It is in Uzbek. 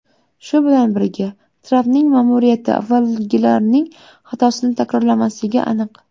Shu bilan birga, Trampning ma’muriyati avvalgilarning xatosini takrorlamasligi aniq.